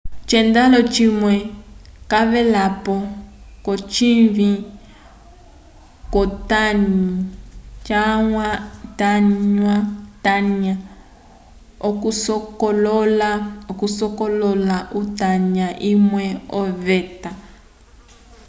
o encelado cimwe cavelapo ko cinyi cu tanya okusokolola utanya umwe oveta